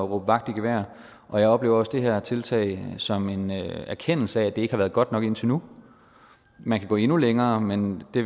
vagt i gevær og jeg oplever også det her tiltag som en erkendelse af at det ikke har været godt nok indtil nu man kan gå endnu længere men det